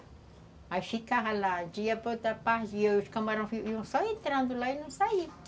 Aí ficava lá, dia para outra parte, e os camarões iam só entrando lá e não saiam